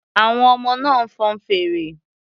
Àwọn ọmọ náà ń fọn fèrè.